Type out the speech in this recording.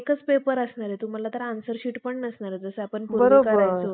असे कित्येक आरो~ युरोपियन परोपकारी ग्रंथकारकांनी सिद्ध करून दाखवले आहे. भटांनी एका ब्रम्हघोळ केला, तरी केव्हा? ब्रम्हा